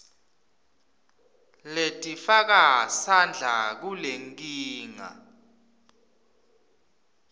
letifaka sandla kulenkinga